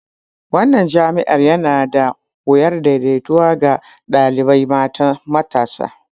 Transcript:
Wannan jami'a yana da wuyar daidaitawa ga ɗalibai matasa.